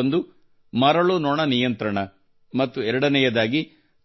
ಒಂದು ಮರಳು ನೊಣ ನಿಯಂತ್ರಣ ಮತ್ತು ಎರಡನೆಯದಾಗಿ